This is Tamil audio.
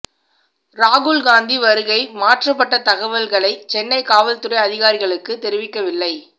ராகுல் காந்தி வருகை மாற்றப்பட்ட தகவல்களை சென்னை காவல்துறை அதிகாரிகளுக்கு தெரிவிக்கவில்லை